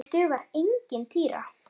Mér dugar engin týra!